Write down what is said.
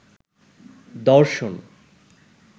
দর্শন